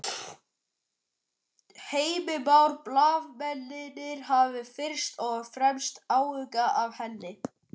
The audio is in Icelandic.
Heimir Már: Blaðamennirnir hafa fyrst og fremst áhuga á henni?